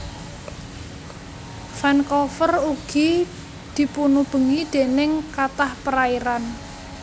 Vancouver ugi dipunubengi déning kathah perairan